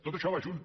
tot això va junt